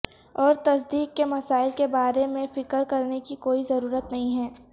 اور تصدیق کے مسائل کے بارے میں فکر کرنے کی کوئی ضرورت نہیں ہے